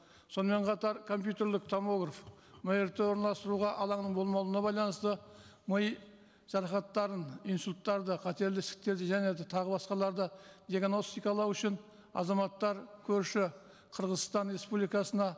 сонымен қатар компьютерлік томограф мрт орналастыруға алаңның болмауына байланысты ми жарақаттарын инсульттарды қатерлі ісіктерді және де тағы басқаларды диагностикалау үшін азаматтар көрші қырғызстан республикасына